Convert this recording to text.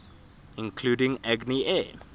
including agni air